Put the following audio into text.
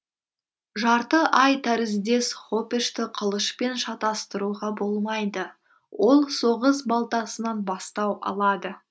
жарты ай тәріздес хопешті қылышпен шатастыруға болмайды ол соғыс балтасынан бастау алады